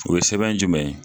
O ye sɛbɛn jumɛn ye?